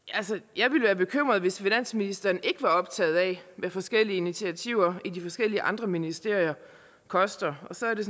jeg ville være bekymret hvis finansministeren ikke var optaget af hvad forskellige initiativer i de forskellige andre ministerier koster og så er det